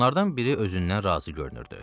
Onlardan biri özündən razı görünürdü.